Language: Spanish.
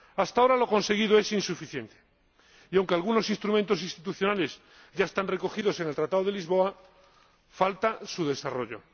Hasta ahora lo conseguido es insuficiente y, aunque algunos instrumentos institucionales ya están recogidos en el Tratado de Lisboa, falta su desarrollo.